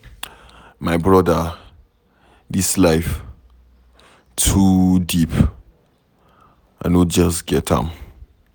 My brother, dis life too deep, I no just get am.